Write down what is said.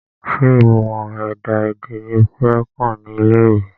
Ṣé ìmọ̀ ẹ̀dá-èdè ni o fẹ́ kà ní ilé ìwé?